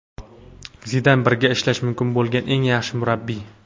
Zidan birga ishlash mumkin bo‘lgan eng yaxshi murabbiy.